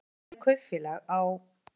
Hann stofnaði kaupfélag á